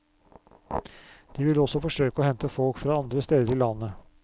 De vil også forsøke å hente folk fra andre steder i landet.